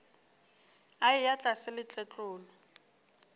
a eya tlase le tletlolo